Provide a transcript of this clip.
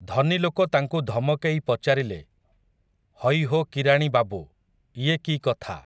ଧନୀଲୋକ ତାଙ୍କୁ ଧମକେଇ ପଚାରିଲେ, ହଇହୋ କିରାଣି ବାବୁ, ଇଏ କି କଥା ।